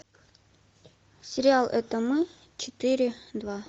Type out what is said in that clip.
сериал это мы четыре два